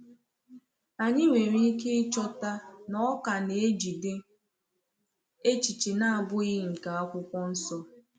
Anyị nwere ike ịchọta na ọ ka na-ejide echiche na-abụghị nke Akwụkwọ Nsọ.